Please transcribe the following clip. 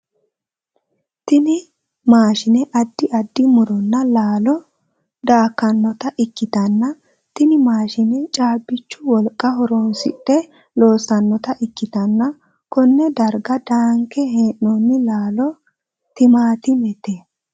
Tinni maashine addi addi muronna laallo daakanota ikitanna tinni maashine caabichu wolqa horoonsidhe loosanota ikitanna konne darga daanke hee'noonni laalo timaatimete